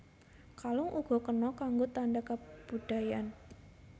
Kalung uga kena kanggo tanda kabudayan